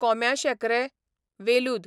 कोंब्याशेंकरें, वेलूद